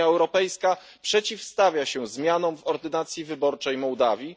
Unia Europejska przeciwstawia się zmianom w ordynacji wyborczej Mołdawii.